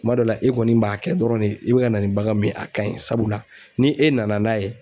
Kuma dɔ la e kɔni b'a kɛ dɔrɔn de i bɛ ka na ni bagan min ye a ka ɲi sabula ni e nana n'a ye